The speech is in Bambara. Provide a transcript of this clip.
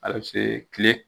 tile.